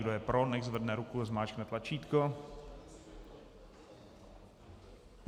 Kdo je pro, nechť zvedne ruku a zmáčkne tlačítko.